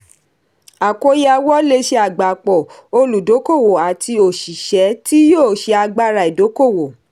àkóyawọ́ lé ṣe àgbápọ̀ olùdókòwò ati òṣìṣẹ́ tí yóò ṣe agbára ìdókòwò.